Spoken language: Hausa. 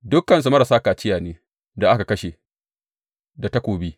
Dukansu marasa kaciya ne, da aka kashe da takobi.